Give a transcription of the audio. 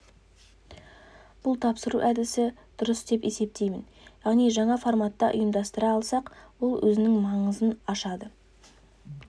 бұл тапсыру әдісі дұрыс деп есептеймін яғни жаңа форматта ұйымдастыра алсақ ол өзінің маңызын ашады